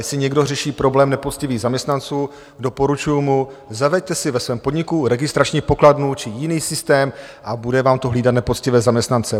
Jestli někdo řeší problém nepoctivých zaměstnanců, doporučuji mu, zaveďte si ve svém podniku registrační pokladnu či jiný systém a bude vám to hlídat nepoctivé zaměstnance.